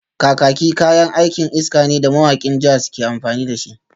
Kakaki kayan aikin iska ne da mawakan jazz ke amfani da shi